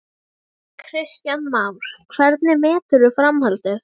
Kristján Már: Hvernig meturðu framhaldið?